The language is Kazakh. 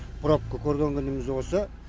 пробка көрген күніміз осы